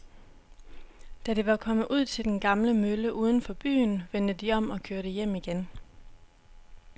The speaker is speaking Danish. Da de var kommet ud til den gamle mølle uden for byen, vendte de om og kørte hjem igen.